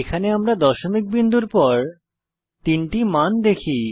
এখানে দশমিক বিন্দুর পর তিনটি মান দেখি